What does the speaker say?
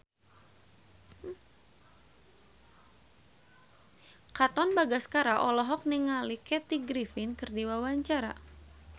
Katon Bagaskara olohok ningali Kathy Griffin keur diwawancara